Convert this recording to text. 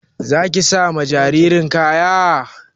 Za ki sa wa jaririn kaya?